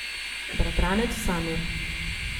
Bratranec Samir.